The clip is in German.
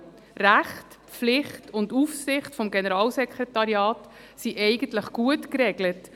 Rechte, Pflichten und Aufsicht des Generalsekretariats sind eigentlich gut geregelt.